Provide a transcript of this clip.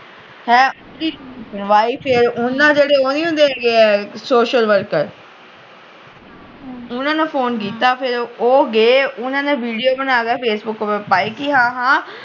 ਉਹਨਾਂ ਜਿਹੜੇ ਉਹ ਨੀ ਹੁੰਦੇ ਸੋਸ਼ਲ ਵਰਕਰ ਉਹਨਾਂ ਨੂੰ ਫੋਨ ਕੀਤਾ ਫਿਰ ਉਹ ਗਏ ਉਹਨਾਂ ਵੀਡੀਓ ਬਣਾ ਕ ਫੇਸਬੁੱਕ ਤੇ ਪਾਈ ਕਿ ਹਾਂ ਹਾਂ